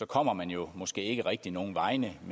kommer man jo måske ikke rigtig nogen vegne